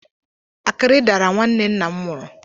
Akịrị dara nwanne nna m nwụrụ.